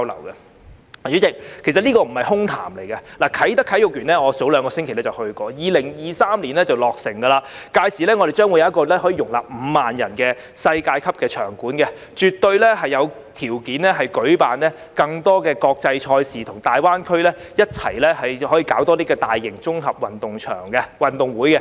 代理主席，其實這並不是空談，我早兩星期曾經前往啟德體育園的工地，它將於2023年落成，屆時我們將擁有一個可容納5萬人的世界級場館，絕對有條件舉辦更多國際賽事，可以與大灣區其他城市共同舉辦更多大型綜合運動會。